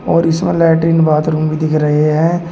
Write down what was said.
और इसमें latrine bathroom भी दिख रहे हैं।